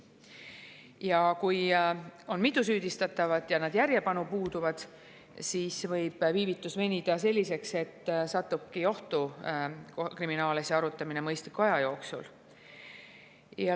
Ja kui on mitu süüdistatavat ja nad järjepanu puuduvad, siis võib viivitus venida nii pikaks, et satubki ohtu kriminaalasja arutamine mõistliku aja jooksul.